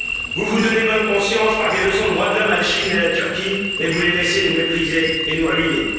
Vous vous donnez bonne conscience par des leçons de droits de l'homme à la Chine à la Turquie, et vous les laissez nous mépriser et nous ruiner.